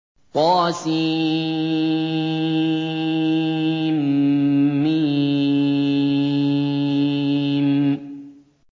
طسم